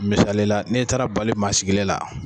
Misalila n'i taara bali maa sigilen la